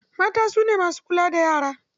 Mata su ne masu kula da yara.